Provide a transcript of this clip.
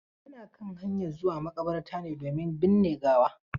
Muna kan hanyan zuwa maƙabarta ne domin birne gawa.